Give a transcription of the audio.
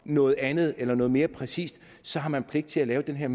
noget andet eller noget mere præcist så har man pligt til at lave den her